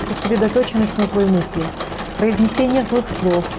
сосредоточенность на злой мысли произнесении злых слов